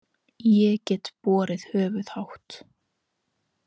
Ég get borið höfuðið hátt.